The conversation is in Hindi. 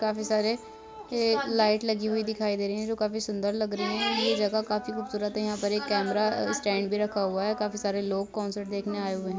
काफी सारे के लाइट लगी हुई दिखाई दे रहीं हैं जो काफी सूंदर लग रहीं हैं। ये जगह काफी खूबसूरत है। यहाँ पे एक कैमरा स्टैंड भी रखा हुआ है काफी सारे लोग कॉन्सर्ट देखने आये हुए हैं।